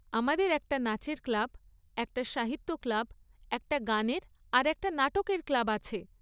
আমাদের একটা নাচের ক্লাব, একটা সাহিত্য ক্লাব, একটা গানের আর একটা নাটকের ক্লাব আছে।